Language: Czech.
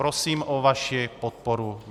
Prosím o vaši podporu.